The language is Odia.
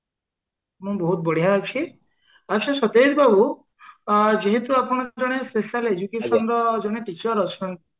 ମୁଁ ବଢିଆ ଅଛି ଆଛା ସତେଜ ବାବୁ ଯେହେତୁ ଆପଣ ଜଣେ special education ତ ଜଣେ teacher ଅଛନ୍ତି